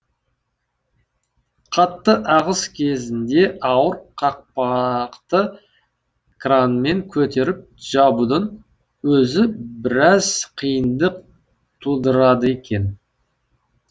қатты ағыс кезінде ауыр қақпақты кранмен көтеріп жабудың өзі біраз қиындық тудырады екен